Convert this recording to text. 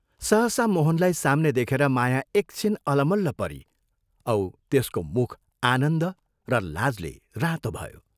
सहसा मोहनलाई साम्ने देखेर माया एक छिन अलमल्ल परी औ त्यसको मुख आनन्द र लाजले रातो भयो।